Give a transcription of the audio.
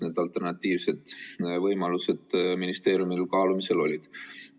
Mis alternatiivsed võimalused ministeeriumil kaalumisel olid?